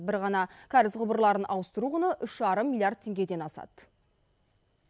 бір ғана кәріз құбырларын ауыстыру құны үш жарым миллиард теңгеден асады